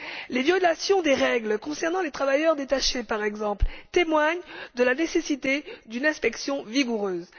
Les violations des règles concernant les travailleurs détachés, par exemple, témoignent de la nécessité d'une inspection vigoureuse.